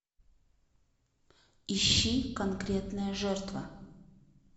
ищи конкретная жертва